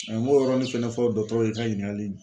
n m'o yɔrɔnin fɛnɛ fɔ dɔtɔrɔw ye n ka ɲininkali